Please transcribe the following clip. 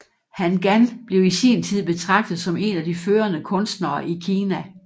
Han Gan blev i sin tid betragtet som en af de førende kunstnere i Kina